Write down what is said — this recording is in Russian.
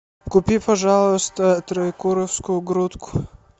купи пожалуйста троекуровскую грудку